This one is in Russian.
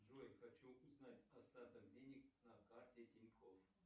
джой хочу узнать остаток денег на карте тинькофф